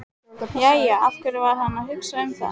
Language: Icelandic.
Jæja, af hverju var hann að hugsa um það?